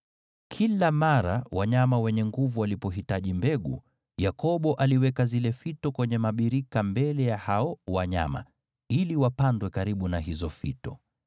Kila mara wanyama wenye nguvu walipohitaji mbegu, Yakobo aliweka zile fito kwenye mabirika mbele ya hao wanyama, ili wapandwe karibu na hizo fito,